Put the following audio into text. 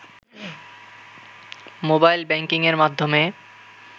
mobile ব্যাংকিংয়ের মাধ্যমে